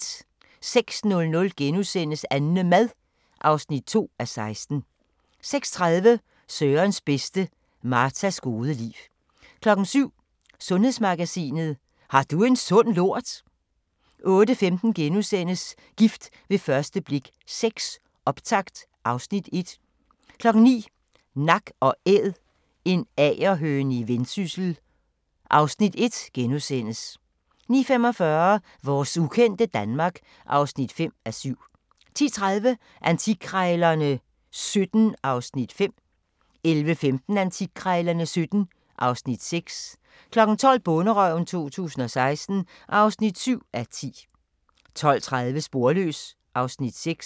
06:00: AnneMad (2:16)* 06:30: Sørens bedste: Martas gode liv 07:00: Sundhedsmagasinet: Har du en sund lort? 08:15: Gift ved første blik VI – optakt (Afs. 1)* 09:00: Nak & Æd – en agerhøne i Vendsyssel (Afs. 1)* 09:45: Vores ukendte Danmark (5:7) 10:30: Antikkrejlerne XVII (Afs. 5) 11:15: Antikkrejlerne XVII (Afs. 6) 12:00: Bonderøven 2016 (7:10) 12:30: Sporløs (Afs. 6)